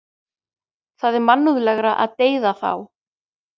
Það er mannúðlegra að deyða þá.